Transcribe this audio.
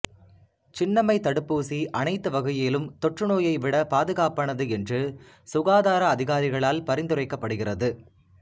சின்னம்மை தடுப்பூசி அனைத்து வகையிலும் தொற்றுநோயை விட பாதுகாப்பானது என்று சுகாதார அதிகாரிகளால் பரிந்துரைக்கப்படுகிறது